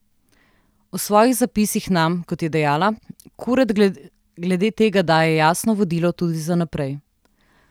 V svojih zapisih nam, kot je dejala, Kuret glede tega daje jasno vodilo tudi za naprej.